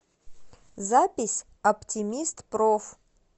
запись оптимистпроф